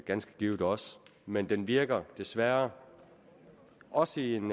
ganske givet også men den virker desværre også i en